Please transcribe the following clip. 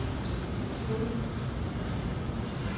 naturlige